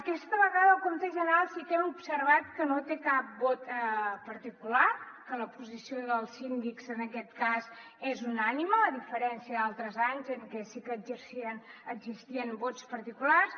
aquesta vegada el compte general sí que hem observat que no té cap vot particular que la posició dels síndics en aquest cas és unànime a diferència d’altres anys en què sí que existien vots particulars